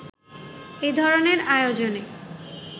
এ ধরনের আয়োজনে